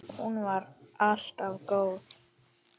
Hún var alltaf góð.